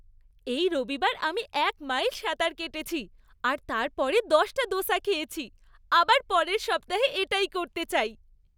এই রবিবার আমি এক মাইল সাঁতার কেটেছি আর তারপরে দশটা দোসা খেয়েছি। আবার পরের সপ্তাহে এটাই করতে চাই।